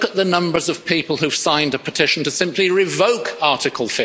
look at the numbers of people who've signed a petition to simply revoke Article